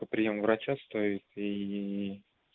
то приём у врача стоит и